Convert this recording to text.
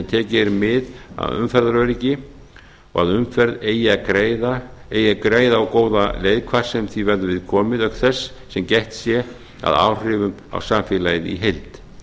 tekið er mið af umferðaröryggi og að umferð eigi greiða og góða leið hvar sem því verður við komið auk þess sem gætt sé að áhrifum á samfélagið í heild